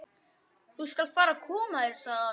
Þú skalt fara að koma þér, sagði hann.